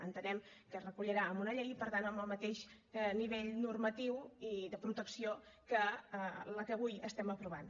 entenem que es recollirà en una llei i per tant amb el mateix nivell normatiu i de protecció que la que avui estem aprovant